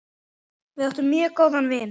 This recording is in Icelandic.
Við áttum góðan vin.